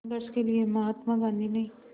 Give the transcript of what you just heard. संघर्ष के लिए महात्मा गांधी ने